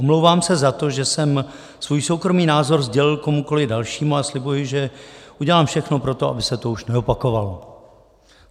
Omlouvám se za to, že jsem svůj soukromý názor sdělil komukoli dalšímu, a slibuji, že udělám všechno pro to, aby se to už neopakovalo.